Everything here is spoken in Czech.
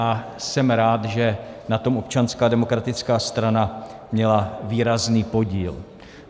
A jsem rád, že na tom Občanská demokratická strana měla výrazný podíl.